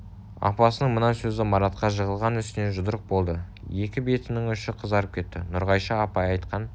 апасының мына сөзі маратқа жығылған үстіне жұдырық болды екі бетінің ұшы қызарып кетті нұрғайша апай айтқан